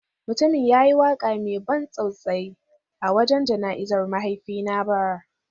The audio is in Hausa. Mutumin ya yi waka mai ban tausayi a wajen jana’izar mahaifina bara.